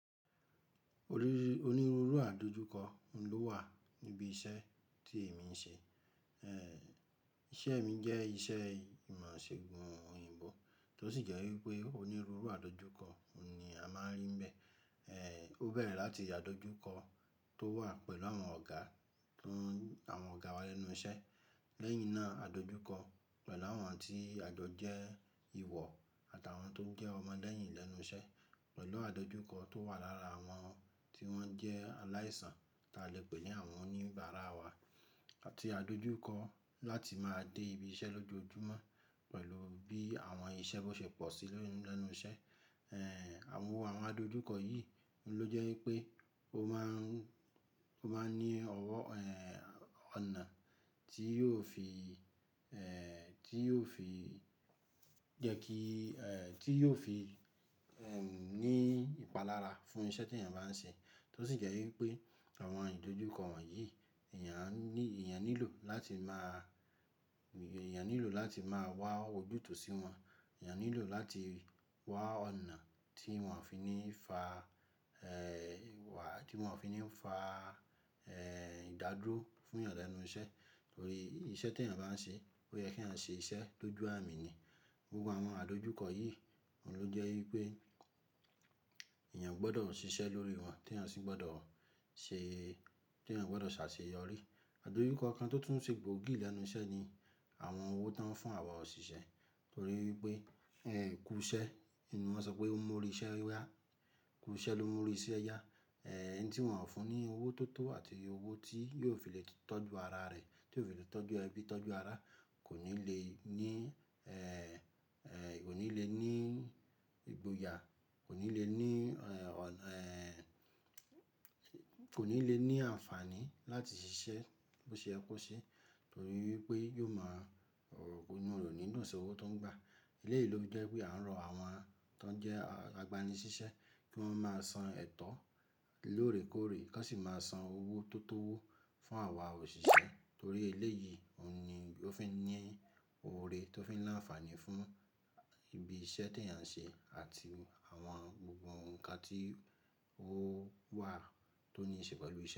Onírúurú àdojúkọ ló wà níbi iṣẹ́ tí èmi ń ṣe. Ẹ̀ Ìṣe mi jẹ́ iṣẹ́ ìmọ̀-ìṣègùn òyìnbó, tó sì jẹ́ wípé onírúurú àdojúkọ ni a máa ń rí bẹ́ẹ̀. Ẹ̀ ó bẹ̀rẹ̀ láti àdojúkọ tó wà pẹ̀lú àwọn ọ̀gá, tún àwọn ọ̀gá wa lẹ́nu iṣẹ́. Lẹ́yìn náà àdojúkọ pẹ̀lú àwọn tí àjọ jẹ́ ìwọ àtàwọn tó jẹ́ ọmọ lẹ́yìn lẹ́nu iṣẹ́, pẹ̀lú àdojúkọ tó wà lára àwọn tí wọ́n jẹ́ aláìsàn, tí a lè pè ní àwọn oníbàárà wa àti àdojúkọ láti máa dé ibi iṣẹ́ lójoojúmọ́ pẹ̀lú bí àwọn iṣẹ́ tó ṣe pọ̀ sí lẹ́nu iṣẹ́. Ẹ̀ àwo àwọn àdojúkọ yìí ló jẹ́ wípé o máa ń, o máa ń ní ọwọ́, ẹ̀ ọ̀nà tí yóò fi, ẹ̀ tí yóò fi jẹ́ kí, ẹ̀ tí yóò fi, ẹ́m ní ìpalára fún iṣẹ́ tí èèyàn bá ń ṣe. Tó sì jẹ́ wípé àwọn àdojúkọ wọ̀nyí èèyàn ní, èèyàn nílò láti máa, èèyàn nílò láti máa wá wòjútò sí wọn. Èèyàn nílò láti wá ọ̀nà tí wọn ò fi ní fa, ẹ̀ ìwà tí wọn ò fi ní fa, ẹ̀ ìdádúró fún èèyàn lẹ́nu iṣẹ́. Nítorí iṣẹ́ tí èèyàn bá ń ṣe, ó yẹ kí à ń ṣe iṣẹ́ tó ju àmì ni. Gbogbo àwọn àdojúkọ yìí oun ló jẹ́ wípé èèyàn gbọdọ̀ ṣiṣẹ́ lórí wọn tí èèyàn sì gbọdọ̀ ṣe, tí èèyàn gbọdọ̀ ṣàṣeyọrí. Àdojúkọ kan tó tún ṣe gbòógì lẹ́nu iṣẹ́ ni àwọn owó tó ń fún àwa òṣìṣẹ́. Nítorí wípé ẹ̀ kú iṣẹ́ ni wọ́n sọ pé ó mú ọ ríṣẹ́ yá. Kú iṣẹ́ ló mú ọ ríṣẹ́ yá. Ẹ̀ ẹni tí wọn ò fún ní owó tó tó àti owó tí yóò fi lè tọ́jú ara rẹ̀, tí yóò fi lè tọ́jú ẹbí, tọ́jú ara kò ní le ní, ẹ̀ ẹ kò ní le ní ìgboyà, kò ní le ní, ẹ̀ ọ̀nà, ẹ̀ kò ní le ní àǹfààní láti ṣiṣẹ́ bó ṣe ẹ kú ṣe. Nítorí wípé yóò máa inú rẹ o ni dùn si owo tó ń gba. Eléyìí ló fi jẹ́ wípé à ń rọ àwọn tó ń jẹ́ agbani ṣíṣẹ́ kí wọ́n máa san ẹ̀tọ́ lóòrèkóòrè, kọ́n sì máa san owó tó tó owó fún àwa òṣìṣẹ́. Nítorí eléyìí ni ó fi ní oore tó fi ń láǹfààní fún ibi iṣẹ́ tí èèyàn ń ṣe àti àwọn gbogbo nǹkan tí ó wà tó ní ì ṣe pẹ̀lú iṣẹ́